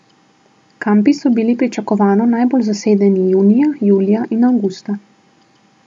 Kampi so bili pričakovano najbolj zasedeni junija, julija in avgusta.